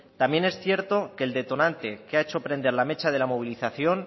también es cierto que el detonante que ha hecho prender la mecha de la movilización